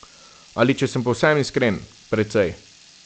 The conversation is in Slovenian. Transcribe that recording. Ali če sem povsem iskren, precej.